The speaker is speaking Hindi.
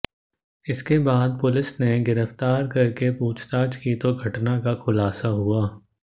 इसके बाद पुलिस ने गिरफ्तार करके पूछताछ की तो घटना का खुलासा हुआ